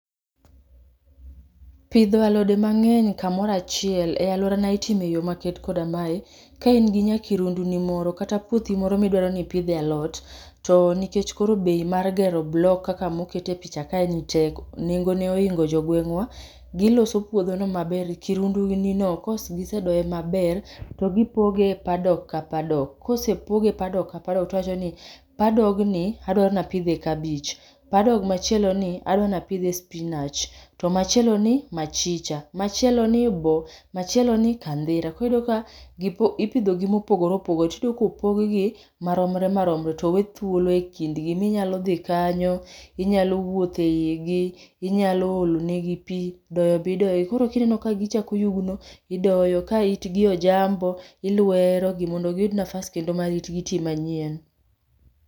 Pidho alode mang'eny kamorachiel e alworana itimo e yo maket koda mae. Ka in gi nya kirundu ni moro kata puothi moro midwaro nipidhe alot, to nikech koro bei mar gero block kaka mokete picha kae ni tek nengo oingo jo gweng'wa. Giloso puodho no maber, kirundu ni no, kos gisedoye maber to gipoge e paddock ka paddock. Kosepoge padok ka padok tiwachoni padogni adwanapidhe kabich, padok machieloni adwanapidhe spinach, to machielo ni machicha, machielo ni bo, machieloni kandhira, koriyudo ka ipidhogi mopogore opogore. Tiyudomkopog gi maromre maromre, towe thuolo e kindgi. Minyalo dhi kanyo, inyalo wuotho e igi, inyalo olone gi pi, doyo bidoyo. Ka itgi ojambo, ilwerogi mondo giyud nafas kendo ma itgi ti manyien.